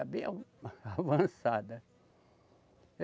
É bem a, avançada.